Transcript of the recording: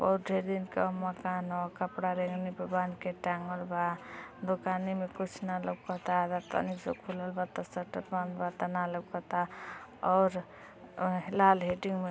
उठे दिन का मकान ह कपड़ा रेगनी पे बांध के टांगल बा दुकाने में कुछ ना लउकता इ तनी सा खुलल बा त शटर बंद बा त ना लउकता और इ लाल हीटिंग में --